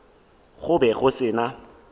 go be go se na